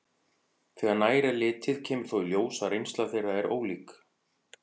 Þegar nær er litið kemur þó í ljós að reynsla þeirra er ólík.